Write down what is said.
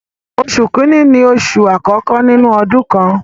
Oṣù kìíní ni oṣù àkọ́kọ́ nínú ọdún kan.